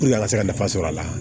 a ka se ka nafa sɔrɔ a la